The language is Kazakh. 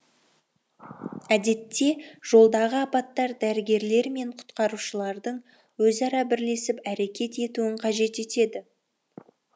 әдетте жолдағы апаттар дәрігерлер мен құтқарушылардың өзара бірлесіп әрекет етуін қажет етеді